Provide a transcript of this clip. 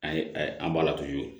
An ye an balatuju